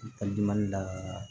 la